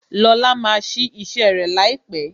Lóla máa sí ise rẹ laipe